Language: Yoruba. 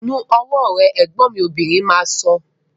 Nu ọwọ́ rẹ! Ẹ̀gbọ́n mi obìnrin máa sọ